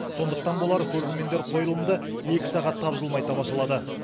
сондықтан болар көрермендер қойылымды екі сағат тапжылмай тамашалады